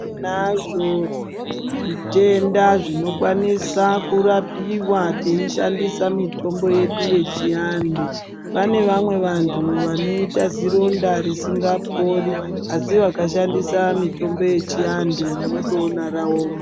Tinazvo zvitenda zvinokwanisa kurapiwa tinazvo kana teishandisa mitombo yedu yechiantu pane vamwe vantu vanoita zironda risingapori asi akashandisa mitombo yechiantu munotoona raoma.